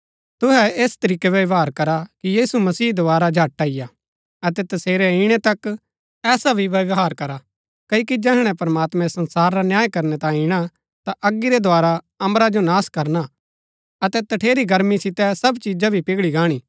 तुहै ऐस तरीकै व्यवहार करा कि यीशु मसीह दोवारा झट अईआ अतै तसेरै इणै तक ऐसा भी व्यवहार करा क्ओकि जैहणै प्रमात्मैं संसार रा न्याय करनै तांये ईणा ता अगी रै द्धारा अम्बरा जो नाश करना अतै तठेरी गर्मी सितै सब चिजा भी पिघळी गाहणी